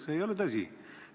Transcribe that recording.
See ei ole tõsi.